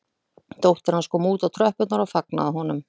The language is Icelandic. Dóttir hans kom út á tröppurnar og fagnaði honum